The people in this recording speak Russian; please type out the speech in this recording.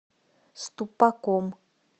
ступаком